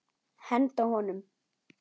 Henda honum?